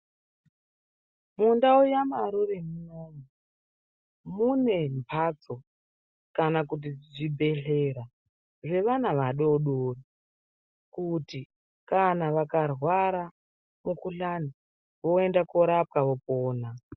Mundau yaMarure muyani mune mphatso kana kuti zvibhedhlera zvevana vadoodori kuti kana vakarwara mukuhlani voende korapwa vopona.